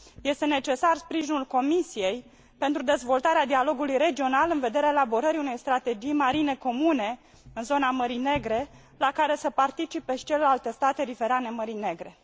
Este necesar sprijinul Comisiei pentru dezvoltarea dialogului regional în vederea elaborării unei strategii marine comune în zona Mării Negre la care să participe și celelalte state riverane Mării Negre.